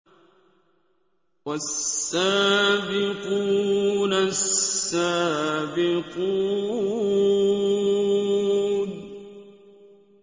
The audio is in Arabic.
وَالسَّابِقُونَ السَّابِقُونَ